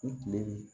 U tile